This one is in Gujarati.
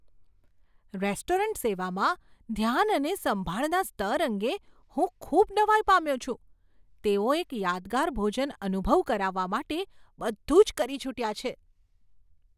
રેસ્ટોરન્ટ સેવામાં ધ્યાન અને સંભાળના સ્તર અંગે હું ખૂબ નવાઈ પામ્યો છું, તેઓ એક યાદગાર ભોજન અનુભવ કરાવવા માટે બધું જ કરી છૂટ્યા છે.